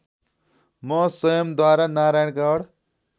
म स्वयम्‌द्वारा नारायणगढ